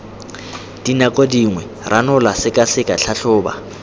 dinako dingwe ranola sekaseka tlhatlhoba